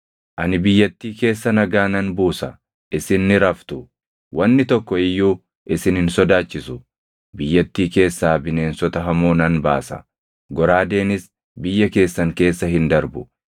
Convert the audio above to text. “ ‘Ani biyyattii keessa nagaa nan buusa; isin ni raftu; wanni tokko iyyuu isin hin sodaachisu. Biyyattii keessaa bineensota hamoo nan baasa; goraadeenis biyya keessan keessa hin darbu.